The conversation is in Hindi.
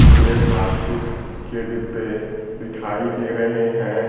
पीले प्लास्टिक के डिब्बे दिखाई दे रहे हैं।